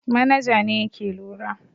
Manaja ne yake lura.